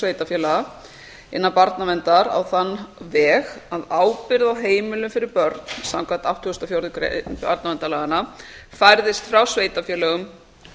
sveitarfélaga innan barnaverndar á þann veg að ábyrgð á heimilum fyrir börn samkvæmt áttugustu og fjórðu grein barnaverndarlaganna færðist frá sveitarfélögum